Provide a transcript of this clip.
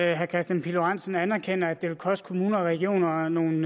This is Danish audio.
at herre kristian pihl lorentzen anerkender at det vil koste kommuner og regioner nogle